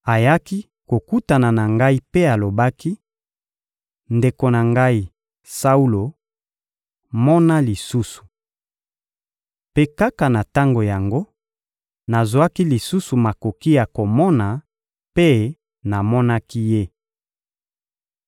Ayaki kokutana na ngai mpe alobaki: «Ndeko na ngai, Saulo, mona lisusu.» Mpe kaka na tango yango, nazwaki lisusu makoki ya komona mpe namonaki ye.